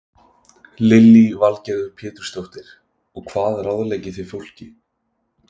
Lillý Valgerður Pétursdóttir: Og hvað ráðleggið þið fólki?